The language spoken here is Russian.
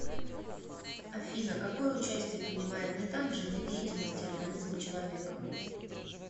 афина какое участие принимает метан в жизнедеятельности организма человека